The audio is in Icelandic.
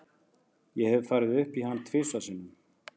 Ég hef farið upp í hann tvisvar sinnum.